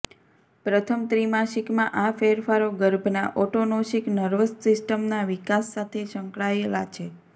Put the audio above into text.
પ્રથમ ત્રિમાસિકમાં આ ફેરફારો ગર્ભના ઓટોનોમિક નર્વસ સિસ્ટમના વિકાસ સાથે સંકળાયેલા છે